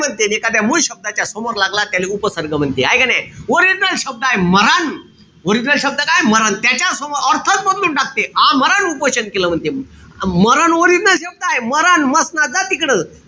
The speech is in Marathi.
म्हणते. अन मूळ शब्दाच्या समोर लागला त्याले उपसर्ग म्हणते. हाये का नाई? Original शब्दय मरण. original शब्द काय? मरण. त्याच्यासमोर अर्थच बदलून टाकते. आमरण उपोषण केलं म्हणते मी. मरण original शब्द हाये. मरण, म्हसनात जा तिकडं.